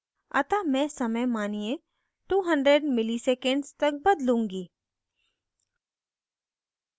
अतः मैं समय मानिये 200 मिली सेकण्ड्स तक बदलूँगी